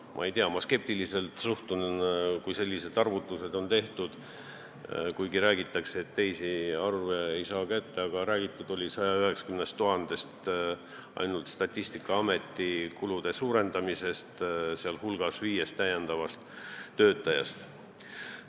Ma ei tea, ma suhtun sellistesse arvutustesse skeptiliselt, aga räägiti 190 000 euro võrra ainult Statistikaameti kulude suurendamisest, sh viiest täiendavast töötajast.